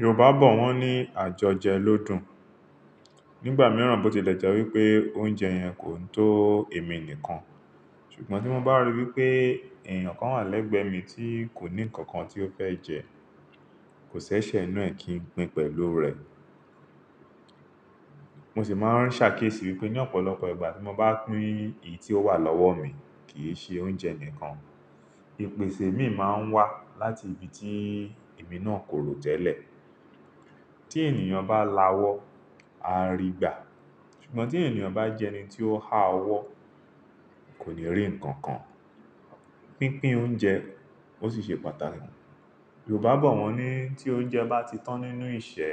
Yorùbá bọ̀ wọ́n ní àjọjẹ ló dùn. Nígbà mìíràn bó ti lẹ́je wípé oúnjẹ yẹn kò tó ẹ̀mí nìkan, ṣùgbọ́n tí mo bá ríi wípé ẹ̀eyàn kan wà lẹ́gbẹ̀ẹ́ mi tí kò ní ǹkan kan tí ó fẹ́ jẹ, kò ṣẹ́ṣẹ́ nù ẹ́ kí n pín pẹ̀lú rẹ̀. Mo sì máa ń ṣàkíyèsí wípé ní ọ̀pọ̀lọpọ̀ ìgbà tí mo bá pín èyí tí ó wà lọ́wọ́ mi, kì í ṣe oúnjẹ nìkan. Ipèsè mi máa ń wá láti ibi tí èmi náà kò rò tẹ́lẹ̀. Tí ènìyàn bá lawọ́, á rígbà, ṣùgbọ́n tí ènìyàn bá jẹ́ ẹni tí ó háwọ́, kò ní rí ǹkan kan. Pínpín oúnjẹ ó sì ṣe pàtàkì. Yorùbá bọ̀ wọ́n ní tí oúnjẹ bá ti tán nínú ìṣẹ̀,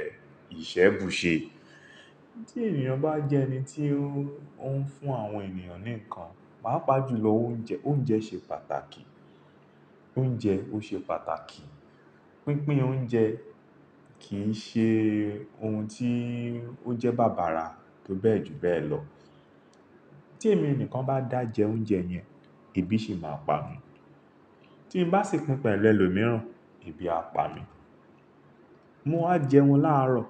ìṣẹ̀ bù ṣe. Tí ènìyàn bá jẹ́ ẹni tí ó ń fún àwọn ènìyàn ní ǹkan, pàápàá jùlọ oúnjẹ, oúnjẹ ṣe pàtàkì. Oúnjẹ ó ṣe pàtàkì. Pínpín oúnjẹ kì í ṣe ohun tí ó jẹ́ bàbà ra tó bẹ́ẹ̀ jù bẹ́ẹ̀ lọ. Tí èmi nìkan bá dàjẹ oúnjẹ yẹn, ebi sì máa pa mi. Tí n bá sì pín pẹ̀lú ẹlòmíràn, ebi á pa mi. Mo á jẹun láàárọ̀.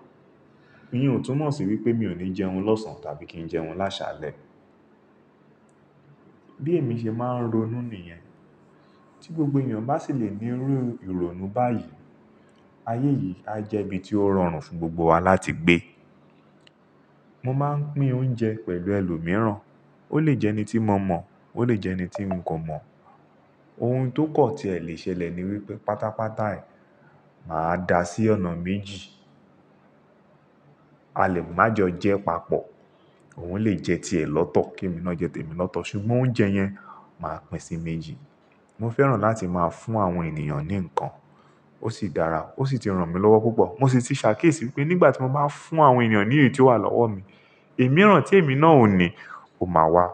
N ò túmọ̀ sí wípé mi ò ní jẹun lọ́sàn-án tàbí kí n jẹun lásàlẹ̀. Bí èmi ṣe máa ń ronú nìyẹn, tí gbogbo ènìyàn bá sì le ní irú ìrònú báyìí, ayé yìí á jẹ́ ibi tí ó rọrùn fún gbogbo wa láti gbé. Mo máa ń pín oúnjẹ pẹ̀lú ẹlòmíràn. Ó lè jẹ́ ẹni tí mo mọ̀, ó lè jẹ́ ẹni tí n kò mọ̀. Ohun tó kan tí ẹ lè ṣẹlẹ̀ ni wípé pátápátá ẹ máa dà sí ọ̀nà méjì. A lè má jọ jẹ papọ̀. Òun lè jẹ́ ti ẹ lọ́tọ̀ kí èmi ná jẹ́ ti èmi lọ́tọ̀ ṣùgbọ́n oúnjẹ yẹn màá pín sí méjì. Mo fẹ́ràn láti máa fún àwọn ènìyàn ní ǹkan. Ó sì dára, ó sì ti ràn mí lọ́wọ́ púpọ̀. Mo sì ti ṣàkíyèsí wípé nígbà tí mo bá ń fún àwọn ènìyàn ní èyií tí ó wà lọ́wọ́ mi, èmirán tí èmi náà ò ní, ó máa wá.